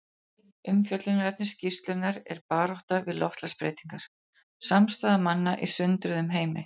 Umfjöllunarefni skýrslunnar er Baráttan við loftslagsbreytingar: Samstaða manna í sundruðum heimi.